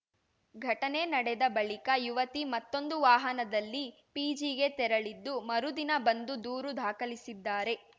ಘಟನೆ ನಡೆದ ಬಳಿಕ ಯುವತಿ ಮತ್ತೊಂದು ವಾಹದನಲ್ಲಿ ಪಿಜಿಗೆ ತೆರಳಿದ್ದು ಮರುದಿನ ಬಂದು ದೂರು ದಾಖಲಿಸಿದ್ದಾರೆ